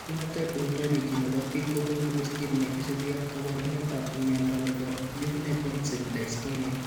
Phenotype Ontology ne po biik ko konu listiit ne isubiap kaabarunetap mnyando ne po Juvenile onset dystonia.